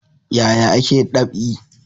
Yaya ake dab'i?